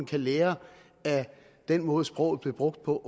kan lære af den måde sproget blev brugt på